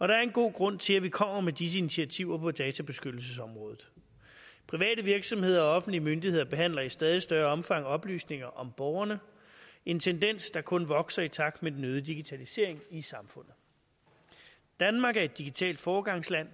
der er en god grund til at vi kommer med disse initiativer på databeskyttelsesområdet private virksomheder og offentlige myndigheder behandler i stadig større omfang oplysninger om borgerne en tendens der kun vokser i takt med den øgede digitalisering i samfundet danmark er et digitalt foregangsland